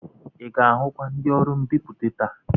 I ga-ahụ ndị ọrụ mbipụta taa?